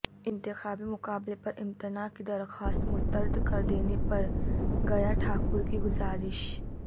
انتخابی مقابلہ پر امتناع کی درخواست مسترد کردینے پرگیہ ٹھاکر کی گذارش